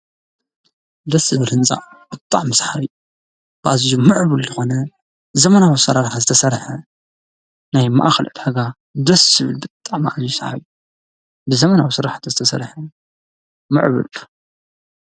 ደስዝብል ሕንፃ ብጣዕሚ ሰሓቢ ኣዙዩ ምዕቡል ዝኾነ ዘመናዊ ኣሠራርሓ ዝተሠርሐ ናይ ማኣኽል ዕዳጋ ደስ ዝብል ብጣዕሚ ኣዙዩ ሰሓቢ ብዘመናዊ ሥራሕት ዝተሠርሐ ምዕብል እዩ።